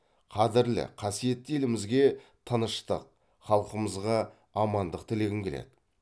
қадірлі қасиетті елімізге тыныштық халқымызға амандық тілегім келеді